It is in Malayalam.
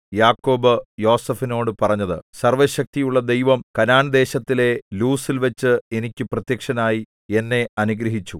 യാക്കോബ് യോസേഫിനോടു പറഞ്ഞത് സർവ്വശക്തിയുള്ള ദൈവം കനാൻദേശത്തിലെ ലൂസ്സിൽവച്ച് എനിക്ക് പ്രത്യക്ഷനായി എന്നെ അനുഗ്രഹിച്ചു